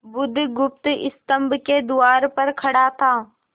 बुधगुप्त स्तंभ के द्वार पर खड़ा था